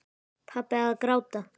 Pabbi að gráta!